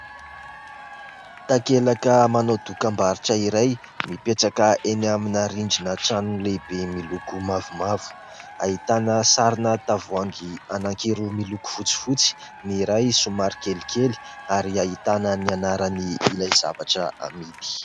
Takelaka manao dokam-barotra iray mipetraka eny amina rindrina trano lehibe miloko mavomavo ; ahitana sarina tavoahangy anankiroa miloko fotsifotsy, ny iray somary kelikely ary ahitana ny anarany ilay zavatra amidy.